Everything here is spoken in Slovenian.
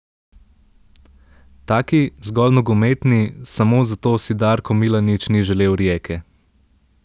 Taki, zgolj nogometni, samo zato si Darko Milanič ni želel Rijeke.